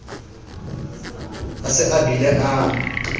a se a bile a